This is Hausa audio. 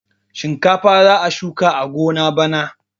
Shinkafa za a shuka a gona bana.